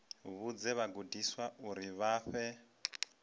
vhudze vhagudiswa uri vha fhe